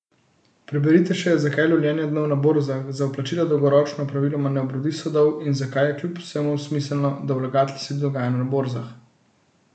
Preberite še, zakaj lovljenje dnov na borzah za vplačila dolgoročno praviloma ne obrodi sadov in zakaj je kljub vsemu smiselno, da vlagatelj sledi dogajanju na borzah.